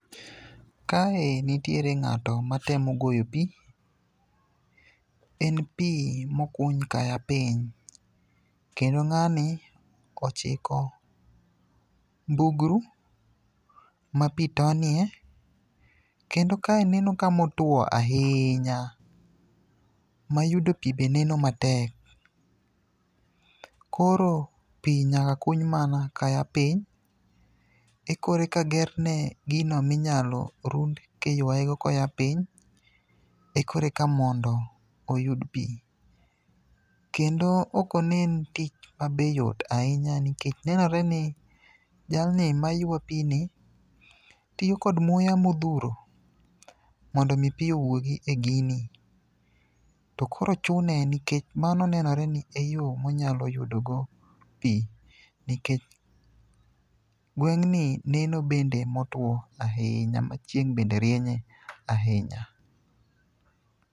Kae nitiere ng'ato matmo goyo pi. En pi mokuny kaya piny, kendo ng'ani ochiko ndugru ma pi tonie. Kendo kae neno kamotuwo ahinya, mayudo pi be neno matek. Koro pi nyaka kuny mana kayapiny, mi koreka gerne gino minyalo rund kiywayego koya piny, koreka mondo oyud pi. Kendo ok onen tich ma be yot ahinya nikech nenore ni jalni maywa pi ni tiyo kod muya modhuro mondo omi pi owuogi e gini. To koro chune nikech mano nenore ni e yo monyalo yudogo pi, nikech ngweng'ni neno bende motuwo ahinya ma cheing' bende rienyye ahinya.